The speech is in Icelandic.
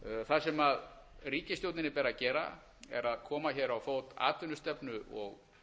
það sem ríkisstjórninni ber að gera er að koma hér á fót atvinnustefnu og